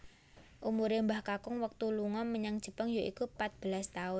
Umure Mbah Kakung wektu lunga menyang Jepang yaiku patbelas taun